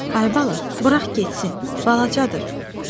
"Ay baba, burax getsin, balacadır" Baba dedi.